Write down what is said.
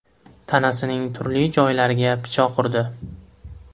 tanasining turli joylariga pichoq urdi.